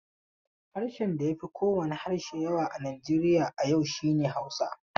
Harshen da ya fi kowane harshe yawa a Nijeriya a yau shi ne Hausa.